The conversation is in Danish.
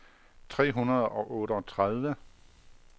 tre hundrede og otteogtredive